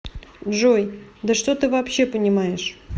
джой да что ты вообще понимаешь